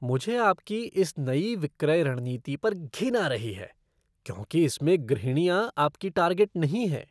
मुझे आपकी इस नई विक्रय रणनीति पर घिन आ रही है क्योंकि इसमें गृहणियाँ आपकी टार्गेट नहीं हैं।